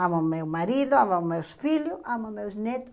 Amo meu marido, amo meus filhos, amo meus netos.